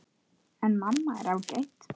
En mamma er ágæt.